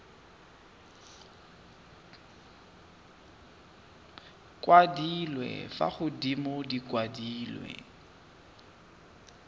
kwadilwe fa godimo di kwadilwe